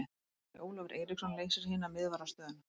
Bjarni Ólafur Eiríksson leysir hina miðvarðarstöðuna.